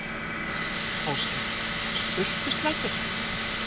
Ásgeir: Sultuslakur?